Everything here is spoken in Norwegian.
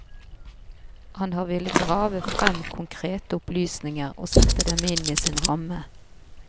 Han har villet grave frem konkrete opplysninger og sette dem inn i sin ramme.